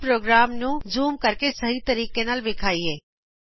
ਆਓ ਪ੍ਰੋਗਰਾਮ ਨੂੰ ਜੂਮ ਕਰਕੇ ਸਹੀ ਤਰੀਕੇ ਨਾਲ ਵਿਖਾਇਏ